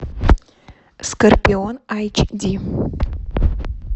скорпион эйч ди